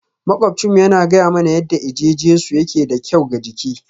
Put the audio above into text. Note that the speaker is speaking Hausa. Maƙwabcinmu yana gaya mana yadda eje-jesu yake da kyau ga jiki